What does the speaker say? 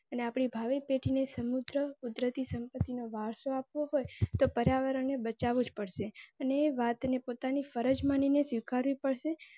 અને આપની ભાવિ પેઢીને સમૃદ્ધ કુદરતી સંપત્તિ નો વરસો આપવો હોય તો પર્યાવરણને બચાવવું જ પડશે અને વાતને પોતાની ફરજ માનીને સ્વીકારી પડશે.